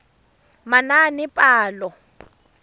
manaanepalo